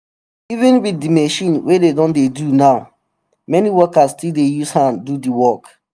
even wit machine wey dey don dey do now many workers still dey use hand do di work.